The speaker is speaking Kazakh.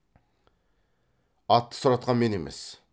атты сұратқан мен емес